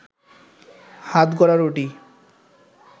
হাতগড়া রুটি